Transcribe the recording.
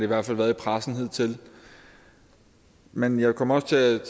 hvert fald været i pressen hidtil men jeg kom også til